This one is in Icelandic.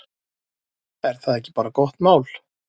Er það ekki bara gott mál?